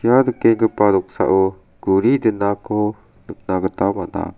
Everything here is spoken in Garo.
ia nikenggipa noksao guri dinako nikna gita man·a.